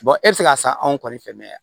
e bɛ se k'a san anw kɔni fɛ mɛ yan